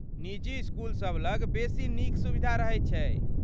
निजी इसकुलसभ लग बेसी नीक सुविधा रहैत छै।